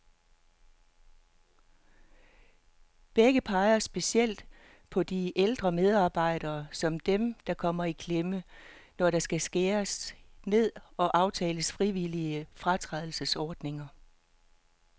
Begge peger specielt på de ældre medarbejdere, som dem, der kommer i klemme, når der skal skæres ned og aftales frivillige fratrædelsesordninger.